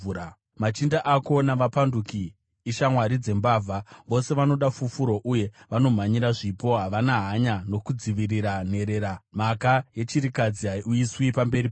Machinda ako vapanduki, ishamwari dzembavha; vose vanoda fufuro, uye vanomhanyira zvipo. Havana hanya nokudzivirira nherera; mhaka yechirikadzi haiuyiswi pamberi pavo.